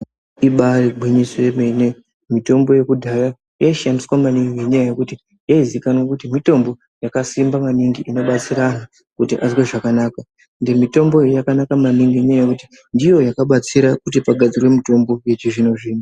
Ibari ngwinyiso yemene mitombo yekudhaya yaishandiswa nemingi ngenyaya yekuti yaizikanwa nekuti mitombo yakasimba maningi inobatsira kuti antu azwe zvakanaka ende mitombo. iyi yakanaka maningi nekuti ndiyo yakabatsira kuti pagadzirwe mitombo yechizvino zvino.